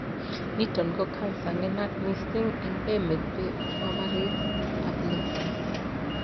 niton ko cancer nenaat missing en emet be mambarit ab loo